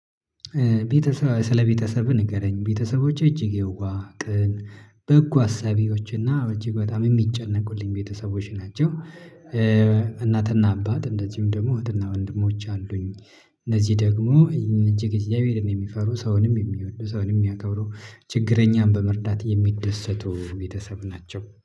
ቤተሰብ ስለ ቤተሰብህ ንገረኝ ቤተሰቦቼ እጅግ የዋህ ቅን በጎ አሳቢዎችና እጅግ በጣም የሚጨነቁልኝ ቤተሰቦች ናቸው። እናትና አባት እንደዚሁም ደግሞ እህትና ወንድሞች አሉኝ። እነዚህ ደግሞ እጅግ እግዝያብሄርን የሚፈሩ ሰውንም የሚወዱ ሰውንም የሚያከብረው ችግረኛን በመርዳት የሚደሰቱ ቤተሰብ ናቸው